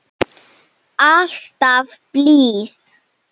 Alltaf blíð.